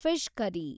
fish curry